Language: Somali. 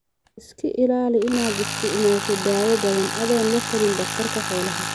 Iska ilaali inaad isticmaasho daawo badan adoon latalin dhakhtarka xoolaha.